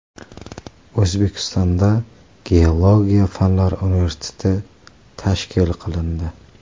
O‘zbekistonda Geologiya fanlari universiteti tashkil qilindi.